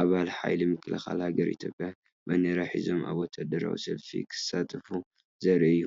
ኣባላት ሓይሊ ምክልኻል ሃገር ኢትዮጵያ ባንዴራ ሒዞም ኣብ ወተሃደራዊ ሰልፊ ክሳተፉ ዘርኢ እዩ።